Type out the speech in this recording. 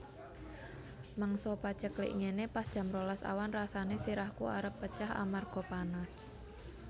Mangsa paceklik ngene pas jam rolas awan rasane sirahku arep pecah amarga panas